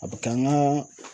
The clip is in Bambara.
A bɛ kɛ an ka